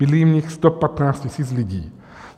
Bydlí v nich 115 000 lidí.